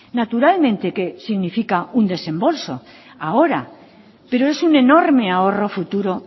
naturalmente que significa un desembolso ahora pero es un enorme ahorro futuro